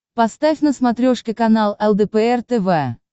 поставь на смотрешке канал лдпр тв